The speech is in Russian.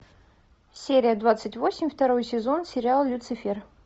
серия двадцать восемь второй сезон сериал люцифер